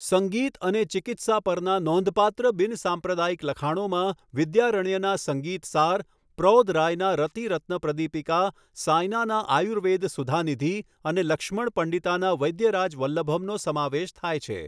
સંગીત અને ચિકિત્સા પરના નોંધપાત્ર બિનસાંપ્રદાયિક લખાણોમાં વિદ્યારણ્યના સંગીતસાર, પ્રૌધ રાયના રતિરત્નપ્રદીપિકા, સાયનાના આયુર્વેદ સુધાનિધિ અને લક્ષ્મણ પંડિતાના વૈદ્યરાજવલ્લભમનો સમાવેશ થાય છે.